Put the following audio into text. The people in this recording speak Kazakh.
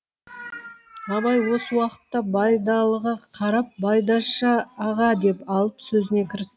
абай осы уақытта байдалыға қарап байдаш аға деп алып сөзіне кірісті